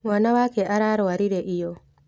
Mwana wake ararwarire iyo.